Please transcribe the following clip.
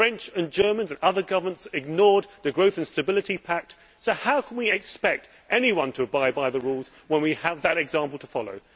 The French and Germans and other governments ignored the Stability and Growth Pact, so how can we expect anyone to abide by the rules when we have that example to follow?